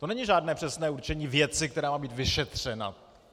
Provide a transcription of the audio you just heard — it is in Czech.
To není žádné přesné určení věci, která má být vyšetřena.